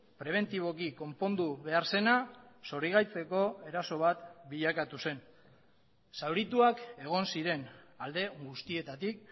prebentiboki konpondu behar zena zorigaitzeko eraso bat bilakatu zen zaurituak egon ziren alde guztietatik